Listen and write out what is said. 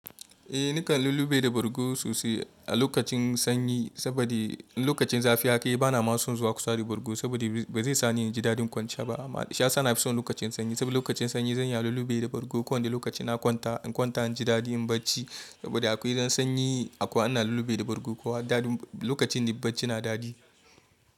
Eh nakan lullube da bargo sosai a lokacin sanyi saboda in lokacin zafi haka yana bana son zuwa kusa da bargo saboda ba zai sani in ji dadin kwanciya ba. Sha sana fi son lokacin sanyi saboda lokacin sanyi zan iya lullube da bargo, kowani da lokacin na kwanta, in kwanta in ji dadi in barci saboda akwai zan sanyi akwai ana lullube da bargo kowa dadin lokacin da bacci na dadi.